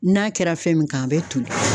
N'a kɛra fɛn min kan a bɛ toli